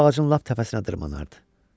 Bu ağacın lap təpəsinə dırmaşardı.